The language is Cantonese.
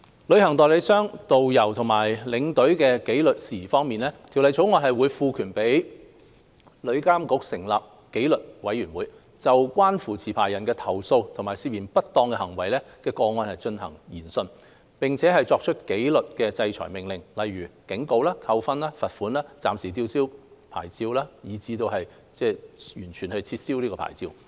旅行代理商、導遊和領隊的紀律事宜方面，《條例草案》會賦權旅監局成立紀律委員會，就關乎持牌人的投訴和涉嫌不當行為的個案進行研訊，並作出紀律制裁命令，例如警告、扣分、罰款、暫時吊銷牌照，以至完全撤銷牌照。